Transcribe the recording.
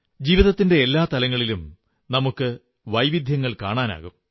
ജീവിതത്തിന്റെ എല്ലാ തലങ്ങളിലും നമുക്ക് വൈവിധ്യങ്ങൾ കാണാനാകും